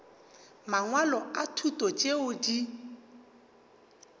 mangwalo a thuto tšeo di